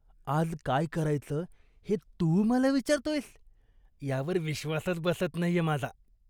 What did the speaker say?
आज काय करायचं हे तू मला विचारतोयस यावर विश्वासच बसत नाहीये माझा.